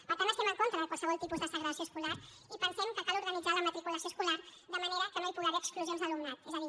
per tant estem en contra de qualsevol tipus de segregació escolar i pensem que cal organitzar la matriculació escolar de manera que no hi pugui haver exclusions d’alumnat és a dir